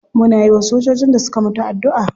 Muna yiwa sojojin da suka mutu addu'a.